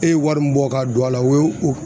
E ye wari min bɔ ka don a la o ye o